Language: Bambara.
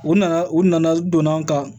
U nana u nana donna an kan